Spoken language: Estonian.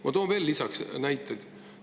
Ma toon veel näiteid.